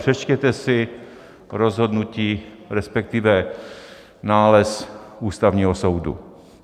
Přečtěte si rozhodnutí, respektive nález Ústavního soudu.